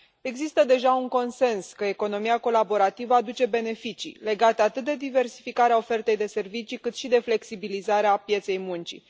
Există deja un consens că economia colaborativă aduce beneficii legate atât de diversificarea ofertei de servicii, cât și de flexibilizarea pieței muncii.